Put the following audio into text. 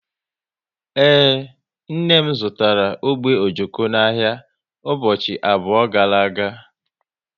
Ee, nne m zụtara ogbe ojoko n'ahịa ụbọchị abụọ gara aga